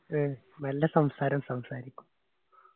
അഹ് നല്ല സംസാരം സംസാരിക്കു.